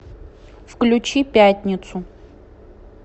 включи пятницу